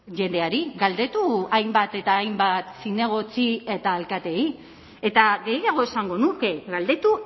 jendeari galdetu hainbat eta hainbat zinegotzi eta alkateei eta gehiago esango nuke galdetu